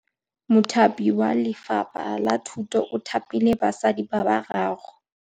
Mothapi wa Lefapha la Thutô o thapile basadi ba ba raro.